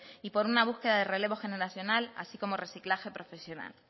y por una búsqueda de relevo generacional así como reciclaje profesional